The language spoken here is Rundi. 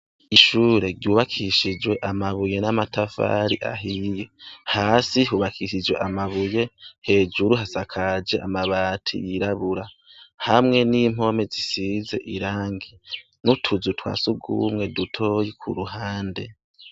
Ishuri rybukishijwe amabuye n'amatafari ahiye. Hasi hubakishijwe amabuye ,hejuru hasakaje amabati yirabura , hamwe n'impome zisize irangi, n'utuzu twa s'urwumwe dutoyi k' 'uruhande.